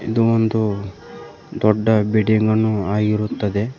ಇದು ಒಂದು ದೊಡ್ಡ ಬಿಲ್ಡಿಂಗ್ ಅನ್ನು ಆಗಿರುತ್ತದೆ.